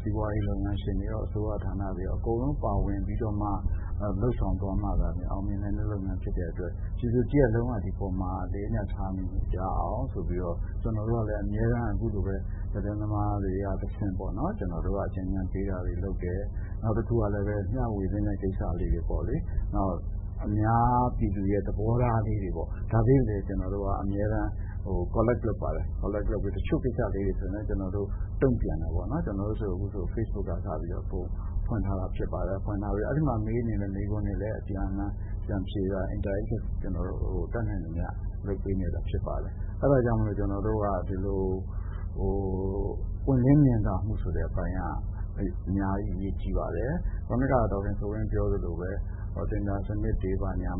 စီးပွားရေးလုပ်ငန်းရှင်တွေရော အစိုးရဌာနတွေရော အကုန်လုံးပါဝင်ပြီးတော့မှ လုပ်ဆောင်မှ အောင်မြင်တဲ့လုပ်ငန်းဖြစ်တဲ့အတွက် ပြည်သူတရပ်လုံးက ဒီအပေါ်မှာ အလေးအနက်ထားရအောင်ဆိုပြီးမှ ကျနော်တို့ကလည်း အမြဲတမ်းအခုလိုပဲ သတင်းသမားတွေကနေပြီးတော့တဆင့် အကြံပေးတာတွေလုပ်တယ် နောက်တခုကလည်း မျှဝေသင့်တဲ့ ကိစ္စတွေ ၊ အများပြည်သူသဘောထားလေးတွေ ဒါတွေလည်း Collect လုပ်ပါတယ်။ တချို့ကိစ္စလေးတွေမှာ ကျနော်တို့ တုံ့ပြန်တာပေါ့နော် ကျနော်တို့အခုဆိုရင် Facebook ကစပြီးတော့ ဖွင့်ထားတာဖြစ်ပါတယ်။ အဲဒီမှာမေးတဲ့မေးခွန်းတွေလည်း အပြန်အလှန်ပြန်ပြီးတော့ဖြေတာ ကျနော်တို့ တတ်နိုင်သမျှလုပ်ပေးနေတာဖြစ်ပါတယ်။ အဲဒါကြောင့် ကျနော်တို့က ဒီလိုပွင့်လင်းမြင်သာမှုဆိုတဲ့ အပိုင်းက အများကြီးအရေးကြီးပါတယ်။ ခုနကပြောသလိုပဲ တင်ဒါစနစ်တွေ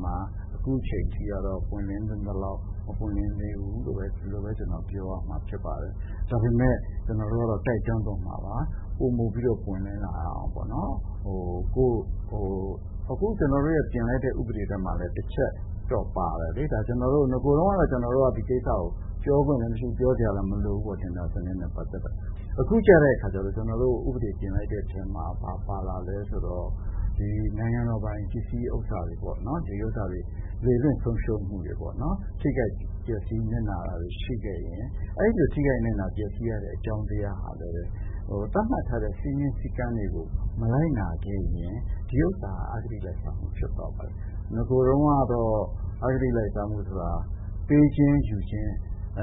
မှာ အခုအထိကတော့ ပွင့်လင်းသင့်သလောက် မပွင့်လင်းဘူးလို့ ပြောရမှာဖြစ်ပါတယ်။ ဒါပေမယ့် ကျနော်တို့ကတော့ တိုက်တွန်းသွားမှာပါ ပိုမိုပြီးတော့ ပွင့်လင်းလာအောင်တိုက်တွန်းမှာပါ။ အခုပြင်လိုက်တဲ့ ကျနော်တို့ ဥပဒေမှာလည်း တချက်ပါတယ်။ နဂိုတုန်းက ဒီကိစ္စကို ပြောခွင့်လည်းမရှိဘူး ပြောစရာလည်းမလိုဘူး လို့ ဒီတင်ဒါစနစ်နဲ့ ပတ်သက်ပြီးတော့။ အခုကျတော့ ဥပဒေ ပြင်လိုက်တဲ့အထဲမှာ ဘာပါလာသလဲဆိုတော့ ဒီနိုင်ငံတော်ပိုင် ပစ္စည်းတွေပေါ့နော် ဒီဟာတွေ လေလွှင့်ဆုံးရှုံးမှုတွေပေ့ါနော် ၊ ထိခိုက်ပျက်စီးနစ်နာတာတွေရှိခဲ့ရင်အဲဒီလိုထိခိုက်ပျက်စီးနစ်နာရတဲ့ အကြောင်းတရားဟာလည်း သတ်မှတ်ထားတဲ့ စည်းမျဉ်းစည်းကမ်းတွေကို မလိုက်နာခဲ့ရင် ဒီဟာက အဂတိလိုက်စားမှု ဖြစ်သွားပါတယ်။ နဂိုကတော့ အဂတိလိုက်စားမှုဆိုတာ ပေးခြင်းယူခြင်း အ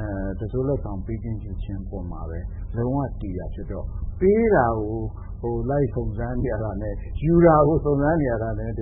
ပေါ်မှာပဲ လုံးဝတည်တာဖြစ်တော့ ပေးတာကို လိုက်စုံစမ်းနေရတာနဲ့ ယူတာကို လိုက်စုံစမ်းနေရတာနဲ့ တ